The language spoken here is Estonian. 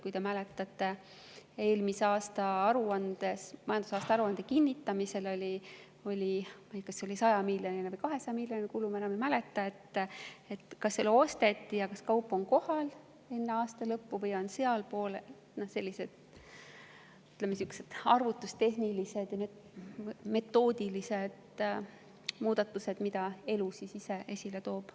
Kui te mäletate, siis eelmise aasta majandusaasta aruande kinnitamisel oli kas 100‑miljoniline või 200‑miljoniline kulu, ja kas see kaup osteti ja oli kohal enne aasta lõppu või mitte – seal on sellised, ütleme, arvutustehnilised ja metoodilised muudatused, mida elu ise esile toob.